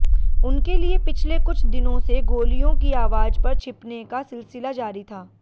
उनके लिए पिछले कुछ दिनों से गोलियों की आवाज पर छिपने का सिलसिला जारी था